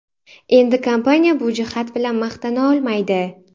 Endi kompaniya bu jihat bilan maqtana olmaydi.